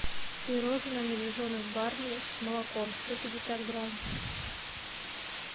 пирожное медвежонок барни с молоком сто пятьдесят грамм